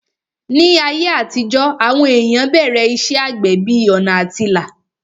Ní ayé àtijó, àwọn èèyàn bẹ̀rẹ̀ iṣẹ́ àgbẹ̀ bí ọ̀nà àtilà